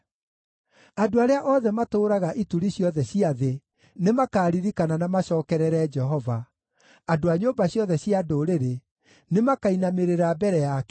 Andũ arĩa othe matũũraga ituri ciothe cia thĩ nĩmakaririkana na macookerere Jehova, andũ a nyũmba ciothe cia ndũrĩrĩ nĩmakainamĩrĩra mbere yake,